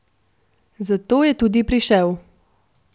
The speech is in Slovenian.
Zato sem tudi prišel.